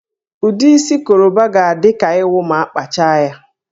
Ụdị isi Koroba ga-adị ka ịwụ ma a kpachaa ya